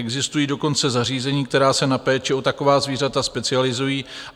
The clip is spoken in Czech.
Existují dokonce zařízení, která se na péči o taková zvířata specializují.